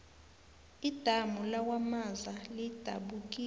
idamu lakwamaza lidabukile